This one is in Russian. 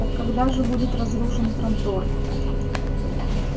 так когда же будет разрушен трантор